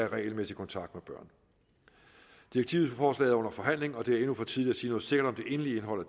regelmæssig kontakt med børn direktivforslaget er under forhandling og det er endnu for tidligt at sige noget sikkert om det endelige indhold